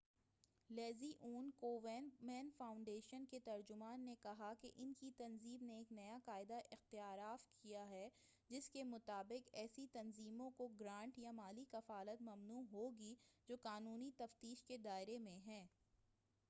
Leslie Aun Komen foundation کے ترجمان نے کہا کہ ان کی تنظیم نے ایک نیا قاعدہ اختیارف کیا ہے جس کےمطابق ایسی تنظیموں کو گرانٹ یا مالی کفالت ممنوع ہوگی جو قانونی تفتیش کے دائرہ میں ہیں